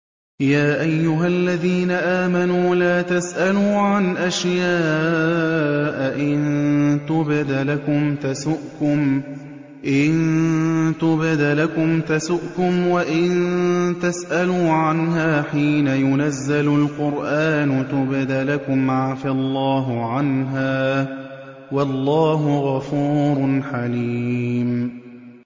يَا أَيُّهَا الَّذِينَ آمَنُوا لَا تَسْأَلُوا عَنْ أَشْيَاءَ إِن تُبْدَ لَكُمْ تَسُؤْكُمْ وَإِن تَسْأَلُوا عَنْهَا حِينَ يُنَزَّلُ الْقُرْآنُ تُبْدَ لَكُمْ عَفَا اللَّهُ عَنْهَا ۗ وَاللَّهُ غَفُورٌ حَلِيمٌ